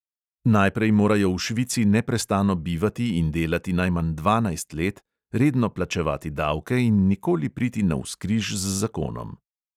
Najprej morajo v švici neprestano bivati in delati najmanj dvanajst let, redno plačevati davke in nikoli priti navzkriž z zakonom.